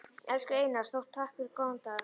Elsku Einar Þór, takk fyrir góðan dag.